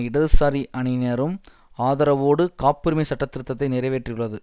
இடதுசாரி அணியினரும் ஆதரவோடு காப்புரிமை சட்டத்திருத்தத்தை நிறைவேற்றியுள்ளது